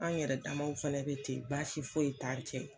An yɛrɛ damaw fana be ten, baasi foyi t'an ni cɛ